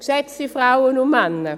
Geschätzte Frauen und Männer: